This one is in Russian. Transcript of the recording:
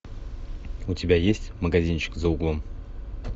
у тебя есть магазинчик за углом